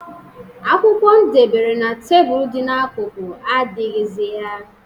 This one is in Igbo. Akwụkwọ ndebere na tebulu dị n'akụkụ adịghịzị ya.